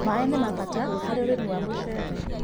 Maĩ nĩmabata harĩ ũrĩmĩ wa mũcere